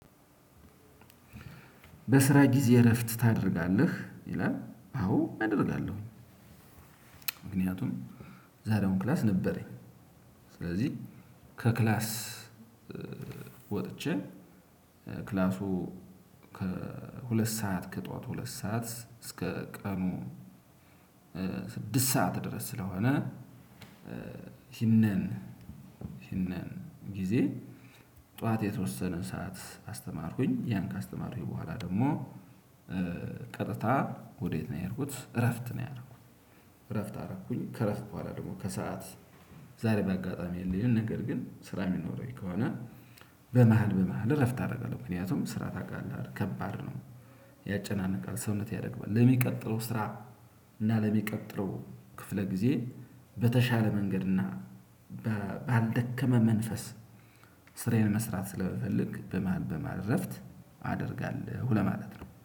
በስራ ጊዜ እረፍት ታደርጋለህ ይላል አዎ እደርጋለሁኝ። ምክንያቱም ዛሬ አሁን ክላስ ነበረኝ። ስለዚህ ከክላስ ወጥቼ ክላሱ ከሁለት ሰዓት ከጠዋት ሁለት ሰዓት እስከ ቀኑ ስድስት ሰዓት ድረስ። ስለሆነ ይሄንን ይሄንን ጊዜ ጠዋት የተወሰነ ሰዓት አስተማርኩኝ ያን ካስተማርኩኝ በኋላ ደግሞ ቀጥታ ወዴት ነው የሄድኩት እረፍት ነው። ያደረኩት አረኩኝ ከእረፍት በኋላ ደግሞ ከሰአት ዛሬ በአጋጣሚ የለኝም። ነገር ግን ስራ የሚኖረኝ ከሆነ በመሃል በመሃል እረፍት አደርጋለሁ ምክንያቱም ስራ ታውቃለህ አይደል ከባድ ነው። ያጨናንቃል ሰውነት ያደክማል ለሚቀጥለው ስራ እና ለሚቀጥለው ክፍለ ጊዜ በተሻለ መንገድ እና ባልደከመ መንፈስ ስራዬን መስራት ስለምፈልግ በመሃል በመሃል እረፍት አደርጋለሁ ለማለት ነው